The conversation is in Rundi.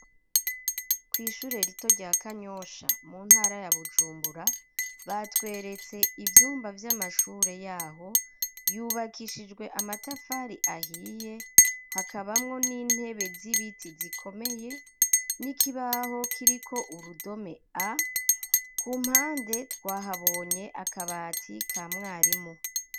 kw'ishure rito rya Kanyosha mu ntara ya Bujumbura batweretse ivyumba vy'amashure yaho yubakishijwe amatafari ahiye hakabamwo n'intebe z'ibiti zikomeye n'ikibaho kiriko urudome a ku mpande twahabonye akabati ka mwarimu